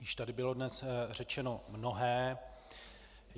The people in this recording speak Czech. Již tady bylo dnes řečeno mnohé.